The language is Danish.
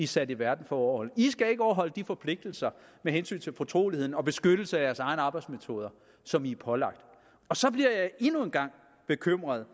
sat i verden for at overholde de skal ikke overholde de forpligtelser med hensyn til fortrolighed og beskyttelse af deres egne arbejdsmetoder som de er pålagt så bliver jeg endnu en gang bekymret